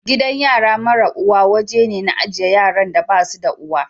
Gidan yara mara uwa woje ne na ajie yaran da basu da uwa.